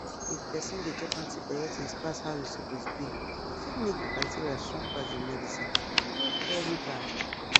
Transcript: if person dey chop antibiotics pass how e suppose be e fit make the bacteria strong pass the medicine e dey very bad